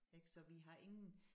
Ik så vi har ingen